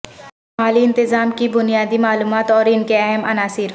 مالی انتظام کی بنیادی معلومات اور ان کے اہم عناصر